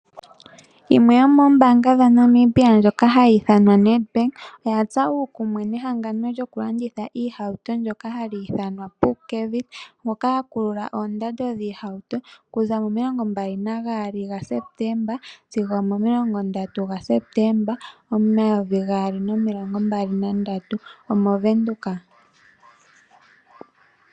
Yimwe yomoombanga dha Namibia ndjoka hayi ithanwa Nedbank oyatsa uukumwe nehangano lyoku landitha iihauto ndjoka hali ithanwa Pupkewitz moka ya kulula oondando dhoohauto okuza momilongo mbali nagaali ga Sepeteemba sigo omomilongo ndatu ga Sepetemba omayovi gaali nomilongo mbali nandatu omoVenduka .